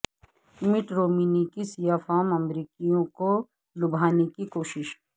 مٹ رومنی کی سیاہ فام امریکیوں کو لبھانے کی کوشش